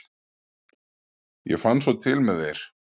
Ég fann svo til með þér.